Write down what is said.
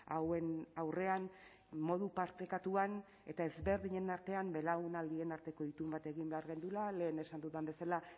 hauen aurrean modu partekatuan eta ezberdinen artean belaunaldien arteko itun bat egin behar genuela lehen esan dudan bezala